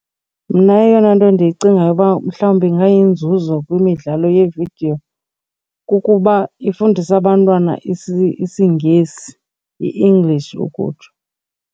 Mna eyona nto ndiyicingayo uba mhlawumbi ingayinzuzo kwimidlalo yevidiyo kukuba ifundisa abantwana isiNgesi, iEnglish ukutsho.